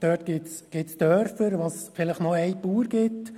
Es gibt dort Dörfer, in denen es vielleicht noch einen Bauer gibt.